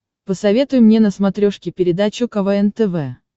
посоветуй мне на смотрешке передачу квн тв